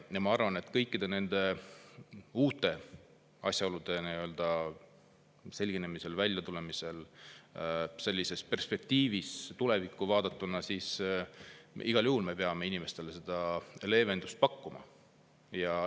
Ma arvan, et kõikide nende uute asjaolude selginemisel, väljatulemisel me peame perspektiivis, tulevikku vaadates, igal juhul inimestele leevendust pakkuma.